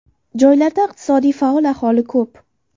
Joylarda iqtisodiy faol aholi ko‘p.